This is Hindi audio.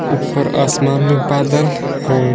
ऊपर आसमान में बादल है।